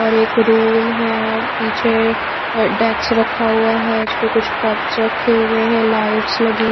और एक रूम है पीछे डेक्स रखा हुआ है उसपे कुछ कप्स रखे हुए हैं लाइट्स लगी--